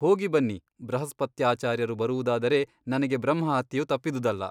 ಹೋಗಿ ಬನ್ನಿ ಬೃಹಸ್ಪತ್ಯಾಚಾರ್ಯರು ಬರುವುದಾದರೆ ನನಗೆ ಬ್ರಹ್ಮಹತ್ಯೆಯು ತಪ್ಪಿದುದಲ್ಲ.